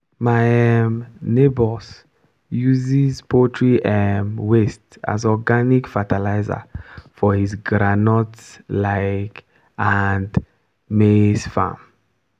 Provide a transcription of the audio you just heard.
my um neighbour uses poultry um waste as organic fertilizer for his groundnut um and maize farm.